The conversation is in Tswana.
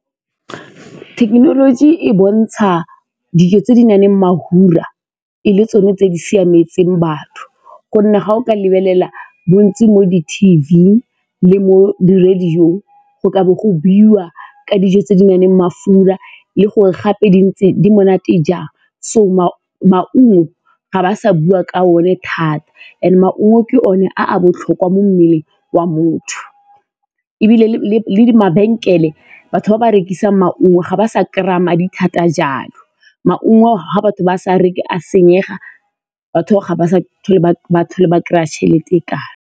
Thekenoloji e bontsha dijo tse di na leng mafura e le tsone tse di siametseng batho gonne ga o ka lebelela bontsi mo di-T_V le mo di-radio-ong go ka bo go buiwa ka dijo tse di nang le mafura le gore gape di monate jang. So, maungo ga ba sa bua ka one thata and maungo ke one a a botlhokwa mo mmeleng wa motho ebile le mabenkele, batho ba ba rekisang maungo ga ba sa kry-a madi thata jalo. Maungo ga batho ba sa reke a senyega, batho ga ba sa tlhole ba kry-a tšhelete e .